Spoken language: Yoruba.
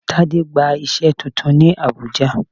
Tade gba iṣẹ́ titun ní Abùjá.